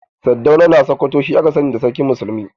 Sardauna na sakwato shi aka sani da sarkin muslimai.